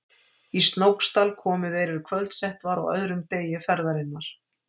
Í Snóksdal komu þeir er kvöldsett var á öðrum degi ferðarinnar.